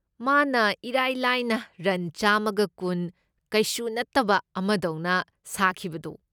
ꯃꯥꯅ ꯏꯔꯥꯏ ꯂꯥꯏꯅ ꯔꯟ ꯆꯥꯝꯃꯒ ꯀꯨꯟ ꯀꯩꯁꯨ ꯅꯠꯇꯕ ꯑꯃꯗꯧꯅ ꯁꯥꯈꯤꯕꯗꯣ꯫